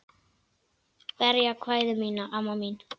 Berðu kveðju mína, amma mín.